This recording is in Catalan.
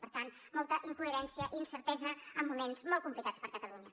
per tant molta incoherència i incertesa en moments molt complicats per a catalunya